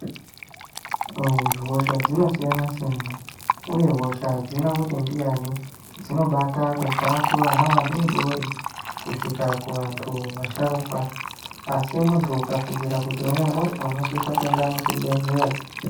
Hosha dzinosiyana siyana uye hosha hadzina kuti ndiyani dzinobata kubva kuvana vadoodori kusvika kuvantu vasharuka, asi muntu ukafungire kuti une hosha unosise kuende kuchibhedhlera.